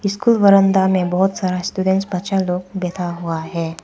School बरंदा में बहोत सारा स्टूडेंट बच्चा लोग बैठा हुआ है।